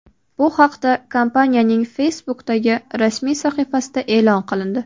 Bu haqda kompaniyaning Facebook’dagi rasmiy sahifasida e’lon qilindi .